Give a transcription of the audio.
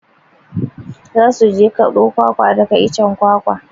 Za su je kaɓo kwakwa daga icen kwakwa.